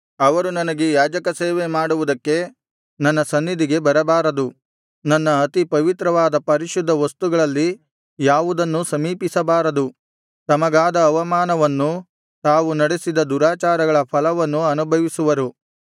ಅವರು ನನಗೆ ಯಾಜಕಸೇವೆ ಮಾಡುವುದಕ್ಕೆ ನನ್ನ ಸನ್ನಿಧಿಗೆ ಬರಬಾರದು ನನ್ನ ಅತಿ ಪವಿತ್ರವಾದ ಪರಿಶುದ್ಧ ವಸ್ತುಗಳಲ್ಲಿ ಯಾವುದನ್ನೂ ಸಮೀಪಿಸಬಾರದು ತಮಗಾದ ಅವಮಾನವನ್ನೂ ತಾವು ನಡೆಸಿದ ದುರಾಚಾರಗಳ ಫಲವನ್ನೂ ಅನುಭವಿಸುವರು